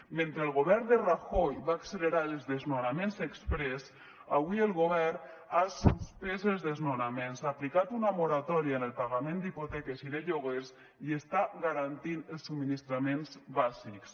mentre el govern de rajoy va accelerar els desnonaments exprés avui el govern ha suspès els desnonaments ha aplicat una moratòria en el pagament d’hipoteques i de lloguers i està garantint els subministraments bàsics